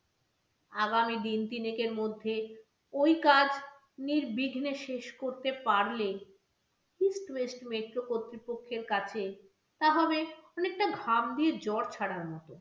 আগামী দিন তিনেকের মধ্যে ওই কাজ নির্বিঘ্নে শেষ করতে পারলে eastwest metro কর্তৃপক্ষের কাছে তা হবে অনেকটা ঘাম দিয়ে জ্বর ছাড়ার মতো।